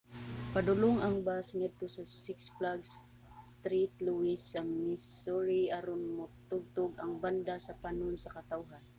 padulong ang bus ngadto sa six flags st. louis sa missouri aron motugtog ang banda sa panon sa katawhan